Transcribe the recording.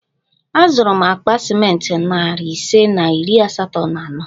Azụrụ m akpa ciment narị ise na iri asatọ na ano